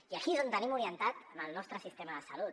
i aquí és on tenim orientat al nostre sistema de salut